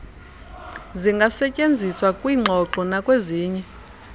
zingasetyenziswa kwiingxoxo nakwezinye